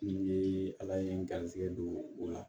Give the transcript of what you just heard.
N ye ala ye n garisɛgɛ don o la